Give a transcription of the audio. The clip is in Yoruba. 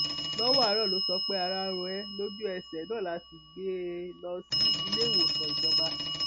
lọwọ àárò ló sọ pé ara ń ro ẹ lójú ẹsẹ náà la sì gbé e lọ sí iléewòsàn ìjọba